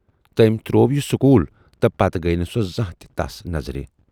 تمٔۍ تروو یہِ سکول تہٕ پتہٕ گٔیہِ نہٕ سۅ زانہہ تہِ تَس نظرِ۔